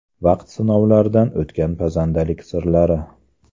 Vaqt sinovidan o‘tgan pazandalik sirlari.